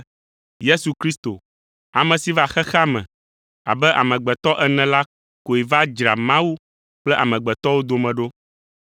Yesu Kristo, ame si va xexea me abe amegbetɔ ene la koe va dzra Mawu kple amegbetɔwo dome ɖo.